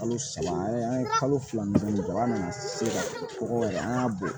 Kalo saba an ye kalo fila de kɛ an nana se ka kɔgɔ yɛrɛ an y'a bɔ